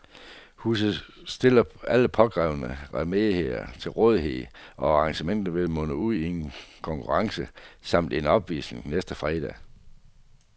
Huset stiller alle påkrævede remedier til rådighed, og arrangementet vil munde ud i en konkurrence samt en opvisning næste fredag.